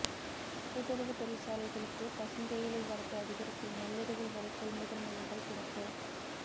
கூட்டுறவு தொழிற்சாலைகளுக்கு பசுந்தேயிலை வரத்து அதிகரிப்பு நள்ளிரவு வரை கொள்முதல் மையங்கள் திறப்பு